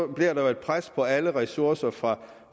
bliver der jo et pres på alle ressourcer fra